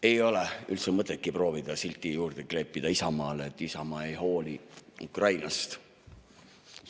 Ei ole üldse mõtetki proovida kleepida Isamaale külge silti, et Isamaa ei hooli Ukrainast.